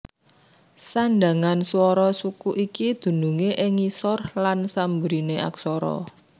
Sandhangan swara suku iki dunungé ing ngisor lan samburiné aksara